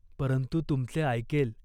परंतु तुमचे ऐकेल.